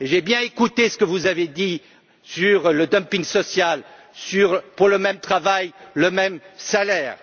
J'ai bien écouté ce que vous avez dit sur le dumping social pour le même travail, le même salaire.